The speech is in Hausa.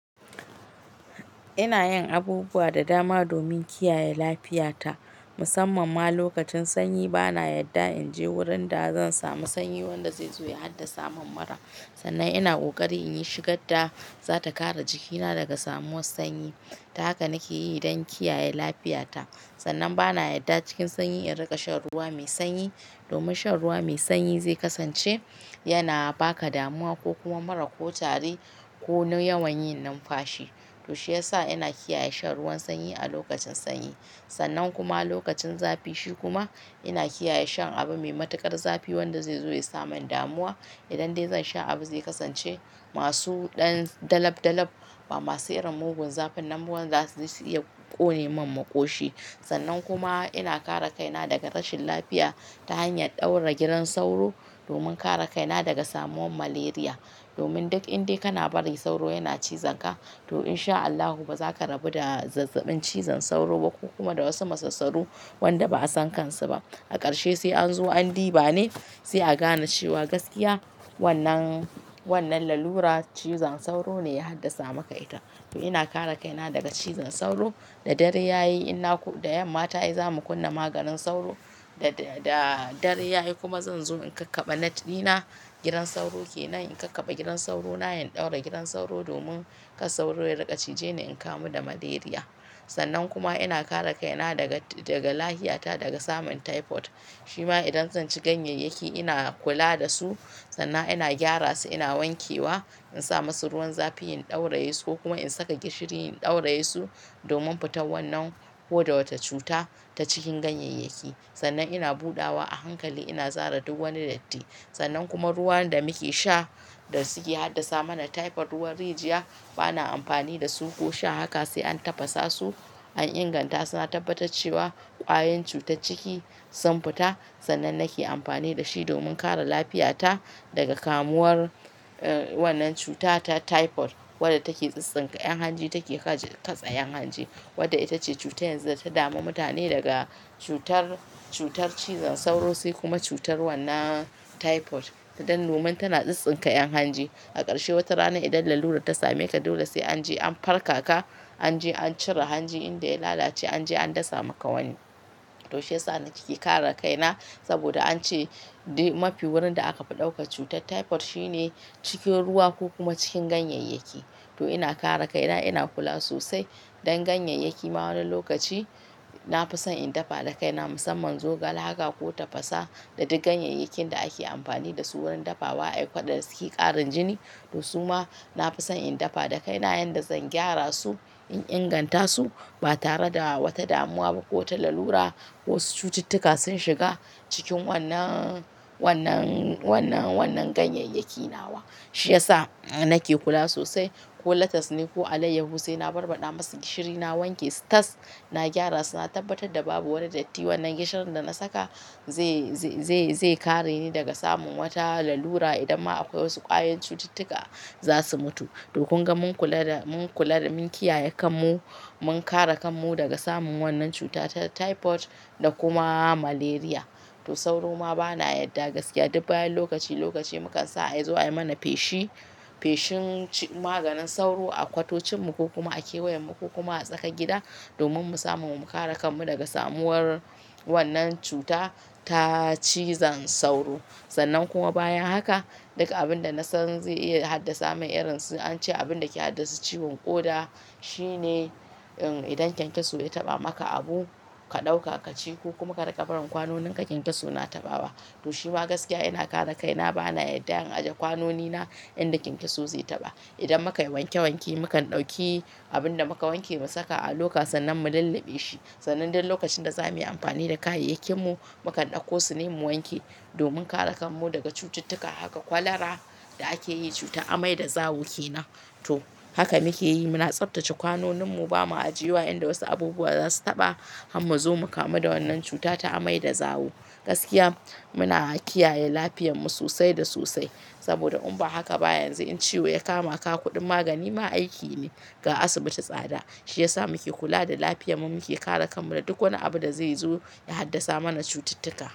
Ina yin abubuwa da dama domin kiyaye lafiyata musamman ma lokacin sanyi. Bana yadda in je wurin da zan samu sanyi wanda zai zo ya haddasa mun mura. Sannan ina ƙoƙari in yi shigar da zata kare jikina daga samuwan sanyi. Haka nake yi don kiyaye lafiyata. Sannan bana yadda cikin sanyi in riƙa shan ruwa mai sanyi domin shan ruwa mai sanyi zai kasance yana ba ka damuwa ko kuma mura ko tari ko na yawan yin numfashi. To shiyasa ina kiyaye shan ruwan sanyi a lokacin sanyi. Sannan kuma lokacin zafi shi kuma ina kiyaye shan abu mai matuƙar zafi wanda zai zo ya saman damuwa idan dai zan sha abu zai kasance masu ɗan dalab dalab ba masu irin mugun zafin nan wanda zasu iya ƙone min maƙoshi. Sannan kuma ina kare kaina daga rashin lafiya ta hanyar ɗaura gidan sauro domin kare kaina daga samuwan malaria. Domin duk in dai kana bari sauro yana cizon ka to in sha Allahu ba za ka rabu da zazzaɓin cizon sauro ba kuma da wasu masassaru wanda ba'a san kansu ba. A ƙarshe sai an zo an diba ne sai a gane cewa gaskiya wannan, wannan lalura cizon sauro ne ya haddasa maka ita. To ina kare kaina daga cizon sauro da dare yayi ina da yamma ta ai zamu kunna maganin sauro da, da dare yayi kuma zan zo in kakkabe net ɗina. Gidan sauro kenan in kakkaɓe gidan sauro na, in ɗaura gidan sauro domin kar sauro ya riƙa cije ni in kamu da malaria. Sannan kuma ina kare kaina daga, daga lahita daga samun typhoid. Shi ma idan zan ci ganyeyyaki ina kula da su sannan ina gyara su, ina wanke wa in sa musu ruwan zafi in ɗauraye su ko kuma in saka gishiri in ɗauraye su domin fitan wannan ko da wata cuta ta cikin ganyeyyaki. Sannan ina buɗawa a hankali ina zara duk wani datti. Sannan kuma ruwan da muke sha da suke haddasa mana typhoid, ruwan rijiya bana amfani da su ko sha. Haka sai an tafasa su, an inganta su na tabbatar cewa ƙwayen cuta ciki sun fita sannan nake amfani da shi domin kare lafiyata daga kamuwar wannan cuta ta typhoid wadda take tsintsinka 'yan hanji take ka tasar 'yan hanji wadda ita ce cutar yanzu da ta dami mutane daga cutar, cutar cizon sauro sai kuma cutar wannan typhoid. Dan domin tana tsintsinka 'yan hanji. A ƙarshe wata rana idan lalura ta same ka dole sai an je an farkaka, an je an cire hanji inda ya lalace, an je an dasa maka wani. To shiyasa nake kare kaina saboda an ce mafi wurin da aka fi ɗauka cutar typhoid shi ne cikin ruwa ko kuma cikin ganyeyyaki. To ina kare kaina, ina kula sosai dan ganyeyyaki ma wani lokaci na fi son in dafa da kaina musamman zogale haka ko tafasa da duk ganyeyyakin da ake amfani da su wurin dafawa a ɗakatar da suke ƙarin jini. To su ma na fi son in dafa da kaina yayin da zan gyara su, in inganta su ba tare da wata damuwa ba ko wata lalura ko wasu cututtuka sun shiga cikin wannan, wannan, wannan, wannan ganyeyyaki nawa. Shi ya sa nake kula sosai. Ko latas ne ko alayyahu sai na barbaɗa masu gishiri, na wanke su tas na gyara su, na tabbatar da babu wani datti wannan gishirin da na saka zai, zai, zai kare ni daga samun wata lalura idan ma akwai wasu ƙwayen cututtuka za su mutu. To kun ga mun kula da, mun kula da mun kiyaye kanmu, mun kare kanmu daga samun wannan cuta ta typhoid da kuma malaria. To sauro ma bana yadda gaskiya duk bayan lokaci lokaci mukan sa a aizo a yi mana fashi, feshin maganin sauro a kwatocinmu ko kuma a kewayenmu ko kuma a tsakar gida domin mu samu mu kare kanmu daga samuwar wannan cuta ta cizon sauro. Sannan kuma bayan haka duk abin da na san zai iya haddasa mun irin su an ce abin da ke haddasa ciwon ƙoda shi ne idan kyankyaso ya taɓa maka abu, ka ɗauka ka ci ko kuma ka riƙa barin kwanonin ka kyankyaso na taɓawa. To shi ma gaskiya ina kare kaina bana yadda in ajiye kwanonina inda kyankyaso zai taɓa. Idan muka yi wanke wanke mukan ɗauki abin da muka wanke mu saka a loka sannan mu lallabe shi. Sannan duk lokacin da za mu yi amfani da kayayyakinmu mukan ɗauko su ne mu wanke domin kare kanmu daga cututtuka. Haka kwallara da ake yi cutar amai da zawo ke nan. To haka muke yi, muna tsaftace kwanoninmu ba mu ajiye wa inda wasu abubuwa za su taɓa har mu zo mu kamu da wannan cuta ta amai da zawo. Gaskiya muna kiyaye lafiyarmu sosai da sosai saboda in ba haka ba yanzu in ciwo ya kama ka kuɗin magani ma aiki ne. Ga asibiti tsada. Shi ya sa muke kula da lafiyarmu, muke kare kanmu da duk wani abu da zai zo ya haddasa mana cututtuka.